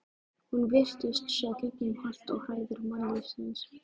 Hún virtist sjá gegnum holt og hæðir mannlífsins.